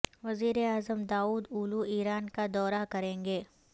وزیر اعظم Davutoglu Iran کا دورہ کریں گے